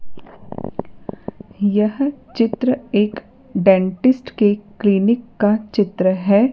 यह चित्र एक डेंटिस्ट के क्लीनिक का चित्र है।